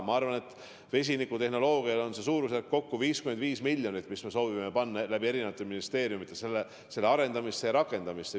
Ma arvan, et vesinikutehnoloogiale on eraldatud suurusjärgus kokku 55 miljonit, ja me soovime selle raha eri ministeeriumide kaudu panna selle tehnoloogia arendamisse ja rakendamisse.